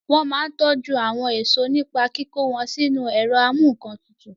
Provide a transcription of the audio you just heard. Wọ́n máa n tọjú àwọn èèso nípa kíkó wọn sínu ẹ̀rọ amúǹkantutù